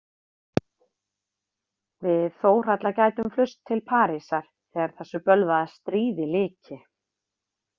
Við Þórhalla gætum flust til Parísar þegar þessu bölvaða stríði lyki.